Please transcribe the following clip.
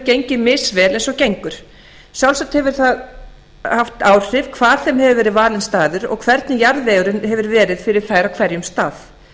gengið misvel eins og gengur sjálfsagt hefur það haft áhrif hvar sem hefur verið valinn staður og hvernig jarðvegurinn hefur verið fyrir þær á hverjum stað